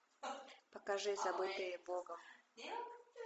покажи забытые богом